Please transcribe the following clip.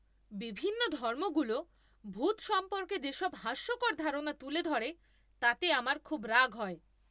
বিভিন্ন ধর্মগুলো ভূত সম্পর্কে যেসব হাস্যকর ধারণা তুলে ধরে তাতে আমার খুব রাগ হয়।